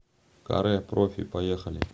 каре профи поехали